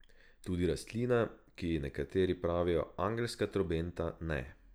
Tudi rastlina, ki ji nekateri pravijo angelska trobenta, ne.